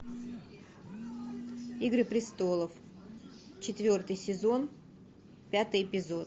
игры престолов четвертый сезон пятый эпизод